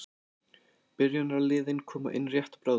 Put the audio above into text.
Byrjunarliðin koma inn rétt bráðum.